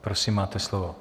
Prosím, máte slovo.